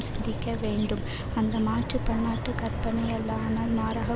சிந்திக்கவேண்டும் அந்த மாற்று பன்னாட்டு கற்பனை அல்ல ஆனால் மாறாக